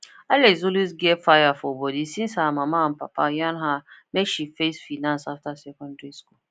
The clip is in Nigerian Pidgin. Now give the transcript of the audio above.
alex always get fire for body since her mama and papa yarn her make she face finance after secondary school